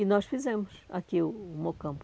E nós fizemos aqui o o Mocampo.